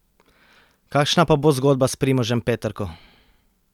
Kakšna pa bo zgodba s Primožem Peterko?